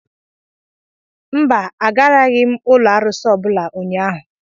Mba, agaraghị m ụlọ arụsị ọ bụla ụnyahụ.